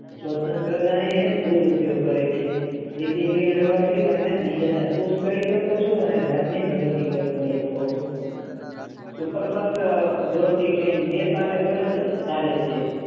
જે તેનો દૂર ઉપયોગ કરે છે તેથી તમે સાઈ એવી પ્રગતિ કરી શકો છો